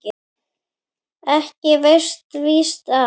Ekki veitir víst af.